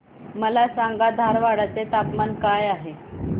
मला सांगा धारवाड चे तापमान काय आहे